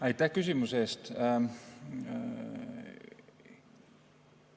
Aitäh küsimuse eest!